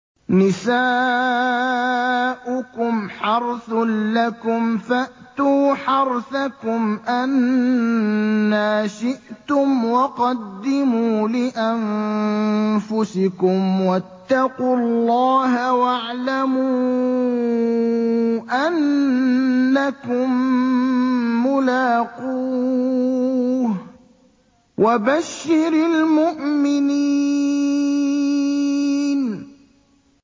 نِسَاؤُكُمْ حَرْثٌ لَّكُمْ فَأْتُوا حَرْثَكُمْ أَنَّىٰ شِئْتُمْ ۖ وَقَدِّمُوا لِأَنفُسِكُمْ ۚ وَاتَّقُوا اللَّهَ وَاعْلَمُوا أَنَّكُم مُّلَاقُوهُ ۗ وَبَشِّرِ الْمُؤْمِنِينَ